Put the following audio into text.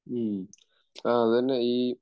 മ്മ്..അതുതന്നെ ഈ